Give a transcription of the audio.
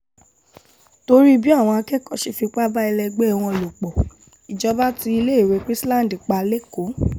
torí bí àwọn akẹ́kọ̀ọ́ ṣe fipá bá ẹlẹgbẹ́ wọn lò pọ̀ ìjọba tí iléèwé chrisland pa lẹ́kọ̀ọ́